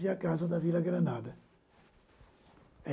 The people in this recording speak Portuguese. e a casa da Vila Granada.